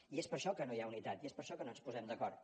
i és per això que no hi ha unitat i és per això que no ens posem d’acord